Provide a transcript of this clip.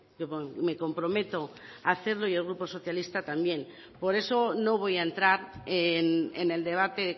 yo me comprometo a hacerlo y el grupo socialista también por eso no voy a entrar en el debate